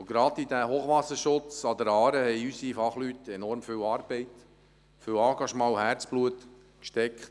Gerade in diesen Hochwasserschutz an der Aare haben unsere Fachleute seit Jahren enorm viel Arbeit, viel Engagement und Herzblut gesteckt.